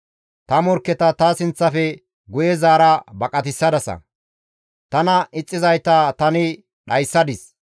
Ta morkketa ta sinththafe guye zaara baqatissadasa; tana ixxizayta tani dhayssadis.